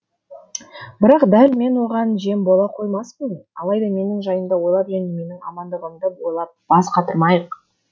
бірақ дәл мен оған жем бола қоймаспын алайда менің жайымды ойлап және менің амандығымды ойлап бас қатырмайық